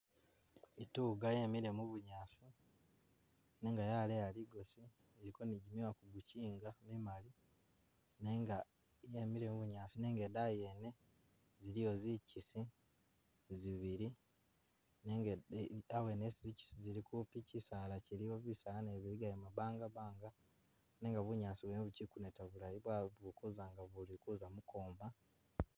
Ituga yemile mu bunyaasi nenga yaleya ligosi iliko ni gyimyoya kumukyinga imali nenga yemile mu bunyaasi nenga idayi yene ziliyo zikyisi zibili nenga e e awene isi zikyisi zili kupi kusaala kyiliwo bisaala nabyo biligayo mabangabanga nenga bunyaasi bwene bukyi kuneta bulayi bwa bukuza nga bulikuza mukwoma